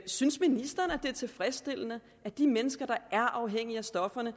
synes ministeren det er tilfredsstillende at de mennesker der er afhængige af stoffer